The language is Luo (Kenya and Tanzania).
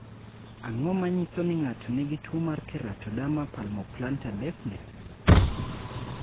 Ang�o ma nyiso ni ng�ato nigi tuo mar Keratoderma palmoplantar deafness?